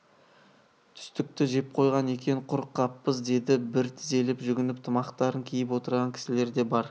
түстікті жеп қойған екен құр қаппыз деді бір тізелеп жүгініп тымақтарын киіп отырған кісілер де бар